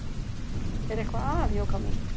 Er eitthvað að, Jóka mín?